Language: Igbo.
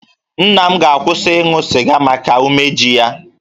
Nna m ga-akwụsị ịṅụ sịga n'ihi umeji ya